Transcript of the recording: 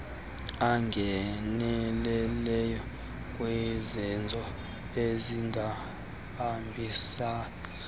angenelele kwizenzo ezingahambisaniyo